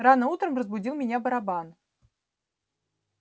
рано утром разбудил меня барабан